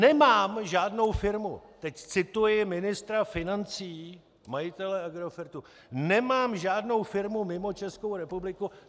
Nemám žádnou firmu - teď cituji ministra financí, majitele Agrofertu - nemám žádnou firmu mimo Českou republiku.